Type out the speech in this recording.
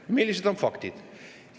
Millised on faktid?